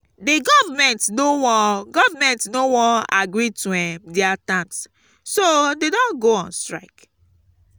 the government no wan government no wan agree to um their terms so dey don go on strike